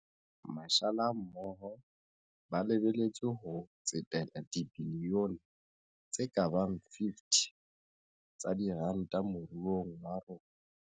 Mashala mmoho ba lebe letswe ho tsetela dibilione tse ka bang 50 tsa diranta mo ruong wa rona.